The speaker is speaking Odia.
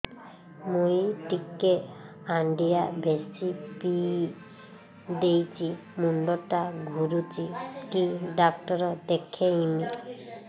ମୁଇ ଟିକେ ହାଣ୍ଡିଆ ବେଶି ପିଇ ଦେଇଛି ମୁଣ୍ଡ ଟା ଘୁରୁଚି କି ଡାକ୍ତର ଦେଖେଇମି